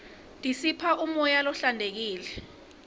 tisipha umoya lohlantekile